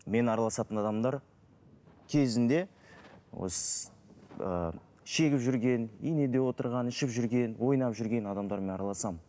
мен араласатын адамдар кезінде осы ы шегіп жүрген инеде отырған ішіп жүрген ойнап жүрген адамдармен араласамын